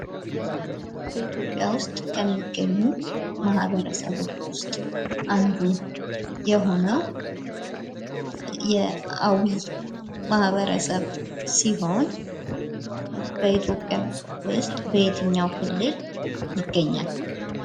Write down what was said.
በኢትዮጵያ ዉስጥ ከሚገኙ ማህበረሰቦች ዉስጥ አንዱየሆነዉ የአዊ ማህበረሰብ ሲሆን በኢትዮጵያ ዉስጥ በየትኛዉ ክልል ይገኛል?